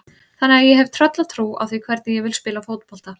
Þannig að ég hef tröllatrú á því hvernig ég vil spila fótbolta.